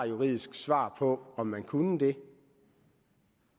juridisk svar på om man kunne det